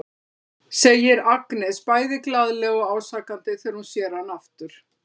segir Agnes bæði glaðlega og ásakandi þegar hún sér hann aftur.